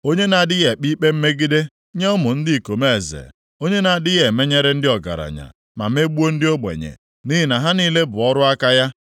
Onye na-adịghị ekpe ikpe mmegide + 34:19 \+xt Dit 10:17; Rom 2:11\+xt* nye ụmụ ndị ikom eze, onye na-adịghị emenyere ndị ọgaranya, ma megbuo ndị ogbenye, nʼihi na ha niile bụ ọrụ aka ya.